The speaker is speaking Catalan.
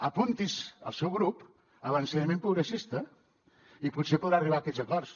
apunti’s el seu grup a l’ensenyament progressista i potser podrà arribar a aquests acords